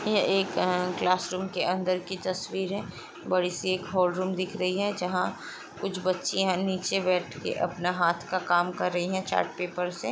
यह एक अह- क्लास रूम के अंदर की तस्वीर है और बड़ी सी एक हॉल रुम दिख रही है। जहाँ कुछ बच्चियाँ नीचे बैठ के अपना हाथ का काम कर रही हैं चार्ट पेपर से।